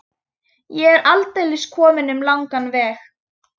Ég er aldeilis kominn um langan veg.